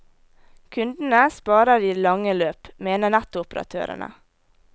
Kundene sparer i det lange løp, mener nettoperatørene.